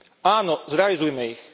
Áno, zrealizujme ich.